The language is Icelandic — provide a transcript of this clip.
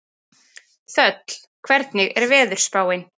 Þöll, hvernig er veðurspáin?